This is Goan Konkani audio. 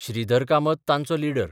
श्रीधर कामत तांचो लीडर.